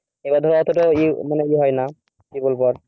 এবার ধর মানে এতোটা এ হয়না কি বলব আর